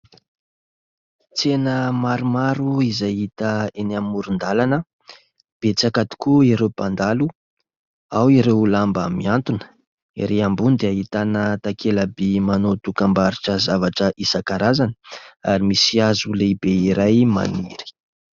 Tsena maromaro izay hita eny amoron-dalana. Betsaka tokoa ireo mpandalo. Ao ireo lamba miantona. Erý ambony dia ahitana takela-by manao dokam-barotra zavatra isankarazany, ary misy hazo lehibe iray maniry.